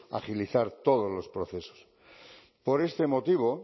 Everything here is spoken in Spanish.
agilizar todos los procesos por este motivo